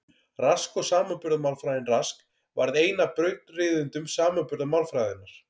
Rask og samanburðarmálfræðin Rask varð einn af brautryðjendum samanburðarmálfræðinnar.